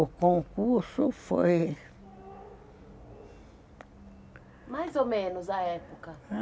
O concurso foi... Mais ou menos a época?